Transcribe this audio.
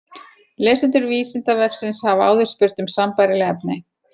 Lesendur Vísindavefsins hafa áður spurt um sambærileg efni.